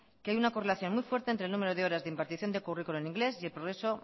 que hay una correlación muy fuerte entre el número de horas de impartición de currículum en inglés y el progreso